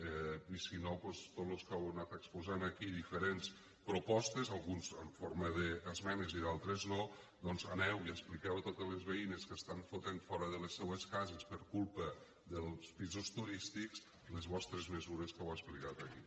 i si no doncs tots los que heu anat exposant aquí diferents propostes alguns en forma d’esmenes i d’altres no aneu i expliqueu a totes les veïnes que estan fotent fora de les seues cases per culpa dels pisos turístics les vostres mesures que heu explicat aquí